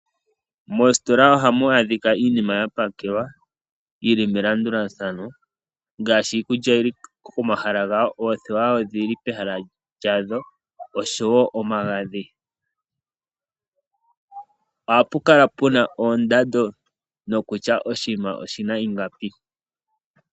Moositola ohamu adhika iinima yapakelwa yili melandulathano ngaashi iikulya yili komahala gawo, oothewa odhili pehala lyadho, oshowo omagadhi. Ohapu kala puna oondando nokutya oshinima oshina ingapi.